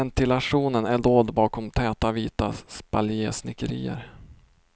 Ventilationen är dold bakom täta vita spaljesnickerier.